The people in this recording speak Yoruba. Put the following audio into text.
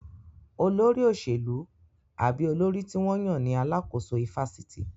Olórí òṣèlú àbí olórí tí wọ́n yàn ní alàkóso ifásitì